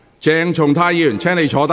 鄭松泰議員，請坐下。